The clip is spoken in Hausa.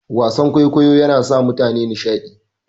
Wasan kwaikwayo yana sa mutane nishadi.